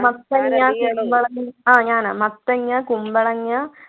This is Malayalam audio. മത്തങ്ങ കുമ്പളങ്ങ ആഹ് ഞാനാ മത്തങ്ങ കുമ്പളങ്ങ